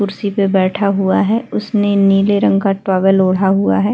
कुर्शी पे बैठा हुआ है उसने नीले रंग का टॉवल ओढ़ा हुआ है।